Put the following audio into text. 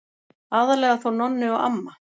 Aðallega þó Nonni og amma.